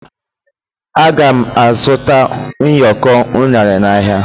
a ga m azụta ụyọkọ unere n'ahịa